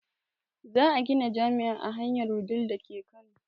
Za a gina jami'a a hanyar wudil dake kano